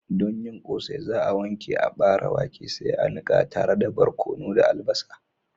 Don yin Ƙosai za'a wanke aɓare wake sai a niƙa tare da barkono da albasa.